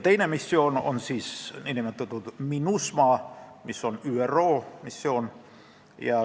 Teine missioon on MINUSMA, mis on ÜRO missioon.